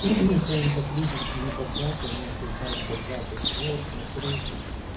скажем так люди небогатые они осуждают богатых вот смотрите